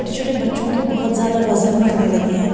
छोटे छोटे बच्चों के बहुत ज़्यादा वज़न बढ़ने लगे हैं।